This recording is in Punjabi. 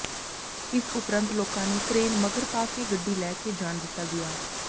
ਇਸ ਉਪਰੰਤ ਲੋਕਾਂ ਨੇ ਕਰੇਨ ਮਗਰ ਪਾ ਕੇ ਗੱਡੀ ਲੈ ਕੇ ਜਾਣ ਦਿੱਤਾ ਗਿਆ